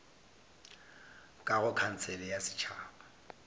ka go khansele ya setšhaba